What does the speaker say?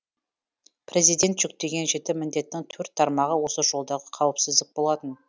президент жүктеген жеті міндеттің төрт тармағы осы жолдағы қауіпсіздік болатын